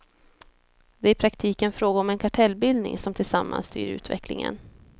Det är i praktiken frågan om en kartellbildning som tillsammans styr utvecklingen.